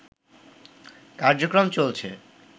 কার্যক্রম চলছে